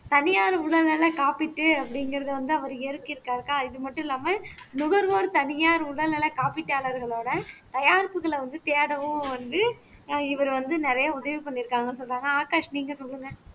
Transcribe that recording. தனியார் உடல்நலக் காப்பீட்டு அப்படிங்கிறதை வந்து அவர் இயற்க்கியிருக்காருக்கா இது மட்டும் இல்லாம நுகர்வோர் தனியார் உடல் நலக் காப்பீட்டாளர்களோட தயாரிப்புகளை வந்து தேடவும் வந்து ஆஹ் இவர் வந்து நிறைய உதவி பண்ணியிருக்காங்கன்னு சொன்னாங்க ஆகாஷ் நீங்க சொல்லுங்க